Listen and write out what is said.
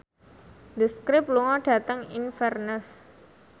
The Script lunga dhateng Inverness